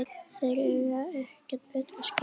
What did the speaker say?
Þeir eiga ekkert betra skilið